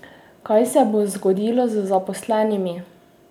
Kaj se bo zgodilo z zaposlenimi?